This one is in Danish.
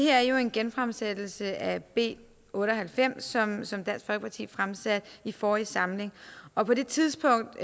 er jo en genfremsættelse af b otte og halvfems som dansk folkeparti fremsatte i forrige samling og på det tidspunkt